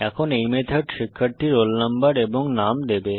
এখন এই মেথড শিক্ষার্থীর রোল নম্বর এবং নাম দেবে